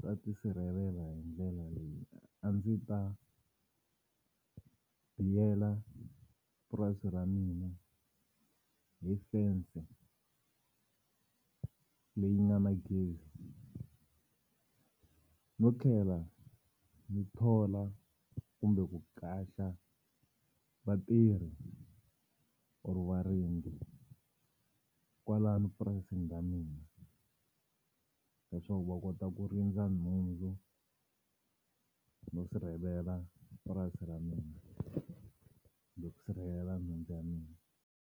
ta tisirhelela hi ndlela leyi a ndzi ta biyela purasi ra mina hi fense leyi nga na gezi no tlhela ndzi thola kumbe ku qacha vatirhi or varindzi kwalano purasini ra mina leswaku va kota ku rindza nhundzu no sirhelela purasi ra mina no sirhelela nhundzu ya mina.